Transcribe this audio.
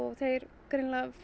þeir greinilega